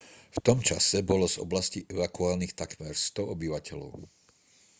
v tom čase bolo z oblasti evakuovaných takmer 100 obyvateľov